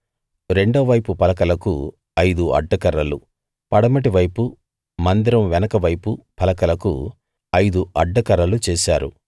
రెండో వైపు పలకలకు ఐదు అడ్డకర్రలు పడమటి వైపు మందిరం వెనుక వైపు పలకలకు ఐదు అడ్డకర్రలు చేశారు